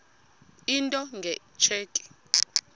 into nge tsheki